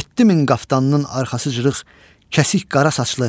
7000 qaftanlı, arxası cırıq, kəsik qara saçlı,